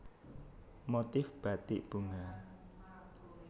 Motif Bathik Bunga